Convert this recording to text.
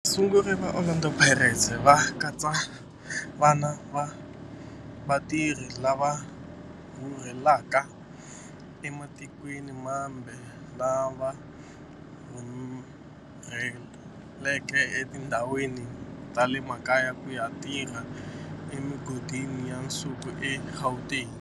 Vasunguri va Orlando Pirates va katsa vana va vatirhi lava rhurhelaka ematikweni mambe lava rhurheleke etindhawini ta le makaya ku ya tirha emigodini ya nsuku eGauteng.